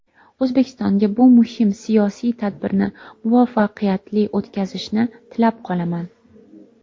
O‘zbekistonga bu muhim siyosiy tadbirni muvaffaqiyatli o‘tkazishni tilab qolaman.